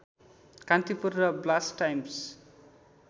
कान्तिपुर र blast times